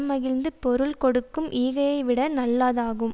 மகிழ்ந்து பொருள் கொடுக்கும் ஈகையைவிட நல்லாதாகும்